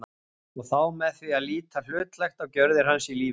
og þá með því að líta hlutlægt á gjörðir hans í lífinu.